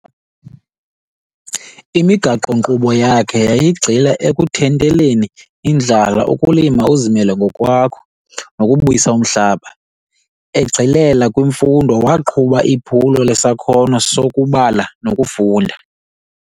imigaqo-nkqubo yakhe yayi gxila ekuthinteleni indlala ukulima uzimele ngokwakho, nobuyisa umhlaba, egxilela kwimfundo waqhuba iphulo sesakhono sokubala nokufunda